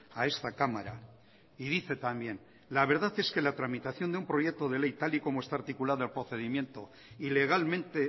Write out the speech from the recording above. a esta cámara y dice también la verdad es que la tramitación de un proyecto de ley tal y como está articulado el procedimiento y legalmente